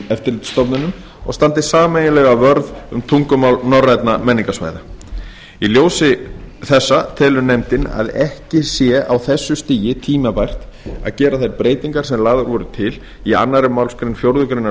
eftirlitsstofnunum og standi sameiginlega vörð um tungumál norrænna menningarsvæða í ljósi framangreinds telur nefndin að ekki sé á þessu stigi tímabært að gera þær breytingar sem lagðar voru til í annarri málsgrein fjórðu grein